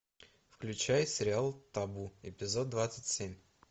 включай сериал табу эпизод двадцать семь